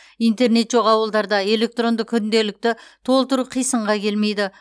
интернет жоқ ауылдарда электронды күнделікті толтыру қисынға келмейді